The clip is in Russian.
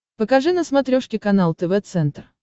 покажи на смотрешке канал тв центр